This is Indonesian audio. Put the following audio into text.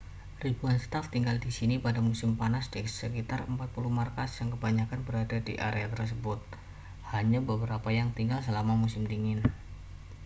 ribuan staf tinggal di sini pada musim panas di sekitar 4 puluh markas yang kebanyakan berada di area tersebut hanya beberapa yang tinggal selama musim dingin